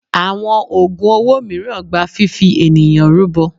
Àwọn ògùn owó mìíràn gba fifi ènìyàn rúbọ.